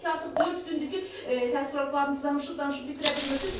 Yəqin ki, artıq dörd gündür ki, təəssüratlarınızı danışıb-danışıb bitirə bilmirsiz.